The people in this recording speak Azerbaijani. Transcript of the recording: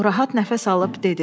O rahat nəfəs alıb dedi.